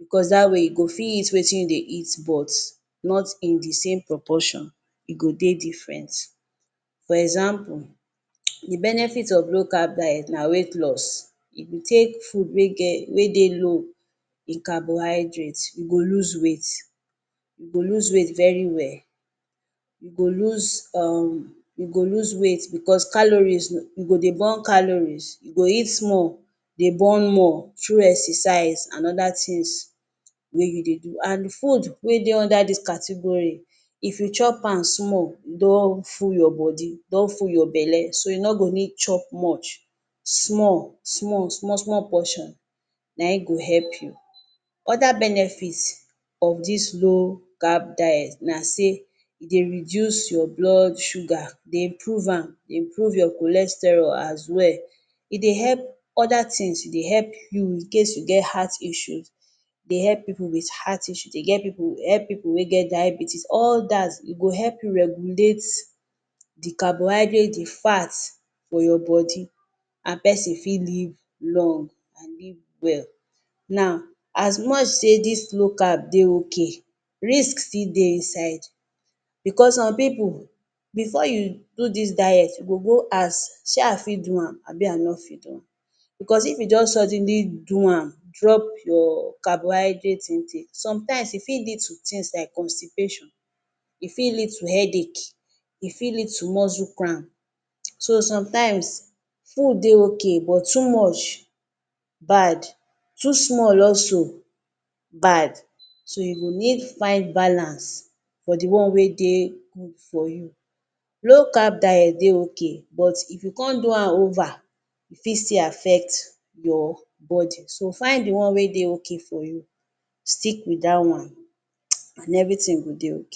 bicos dat wey you go fit eat wetin you dey eat but not in di same proportion, e go dey diffren. For example, di benefits of low carb diet na weight loss, e go take food wey dey low in carbohydrates you go lose weight, you go lose weight very well, you go lose weight bicos calories em, you go dey burn calories, you go eat small dey burn more through exercise and oda tins wey you dey do. And foods wet dey under dis category if you chop am small you don full your body, you don full your belle, so you no go need chop much, small, small, small small portion na im go help you. Oda benefits of dis low carb diet na sey e dey reduce your blood sugar dey improve am, dey improve your cholesterol as, e dey help oda tins, e dey help you incase you get heart issue dey help pipu wit heart issues e dey help pipu wit heart issues. E dey help pipu wey get diabetes all dat e go help you regulate di carbohydrates, di fay's for your body and pesin fit live long and live wel. Now as much say dis low carb dey ok, risk still dey inside bicos some pipu bifor you do dis diet, you go go ask shey I fit do am, abi I no fit do am, bicos if you just suddenly do am wetin wetin, some times e fit leaf to tins like constipation, e fit lead headache, e fit lead to muscle cram, so times food dey ok, but too much bad, too small also, bad you go need find balance for di one wey dey good for you. Low carb diet dey ok, but if you come do am ok, e fit still affect your body so fins di one wey dey ok for you stick wit dat one and evritin go dey ok.